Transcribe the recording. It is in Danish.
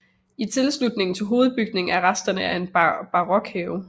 I tilslutning til hovedbygningen er resterne af en barokhave